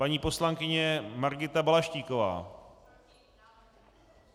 Paní poslankyně Margita Balaštíková.